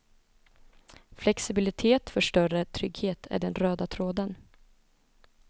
Flexibilitet för större trygghet är den röda tråden.